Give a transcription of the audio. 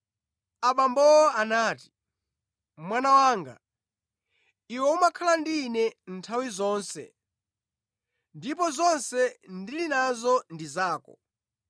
Abambowo anati, “Mwana wanga, iwe umakhala ndi ine nthawi zonse ndipo zonse ndili nazo ndi zako.